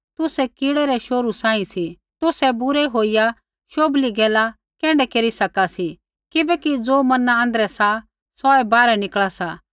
तुसै कीड़ै रै शोहरू सांही सी तुसै बुरै होईया शोभली गैला कैण्ढै केरी सका सी किबैकि ज़ो मना आँध्रै सा सौऐ बाहरै निकल़ा सा